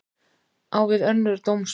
Á við önnur dómsmál